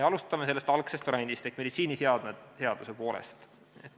Alustame sellest algsest variandist ehk meditsiiniseadme seadusest.